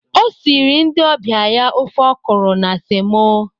O siri ndị ọbịa ya ofe ọkụrụ na semo